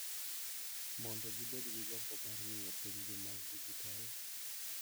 Mondo gibed gi gombo mar ng’iyo pinygi mar dijitol,